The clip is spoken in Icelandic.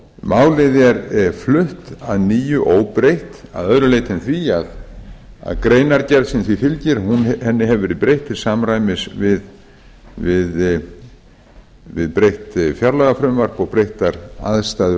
málið er flutt að nýju óbreytt að öðru leyti en því að greinargerð sem því fylgir hefur verið breytt til samræmis við breytt fjárlagafrumvarp og breyttar aðstæður